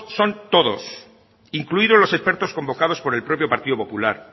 son todos incluidos los expertos convocados por el propio partido popular